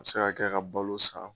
A bɛ se ka kɛ ka balo san.